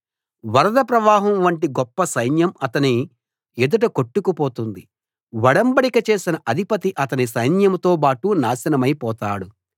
వరద ప్రవాహం వంటి గొప్ప సైన్యం అతని ఎదుట కొట్టుకు పోతుంది ఒడంబడిక చేసిన అధిపతి అతని సైన్యంతోబాటు నాశనమై పోతాడు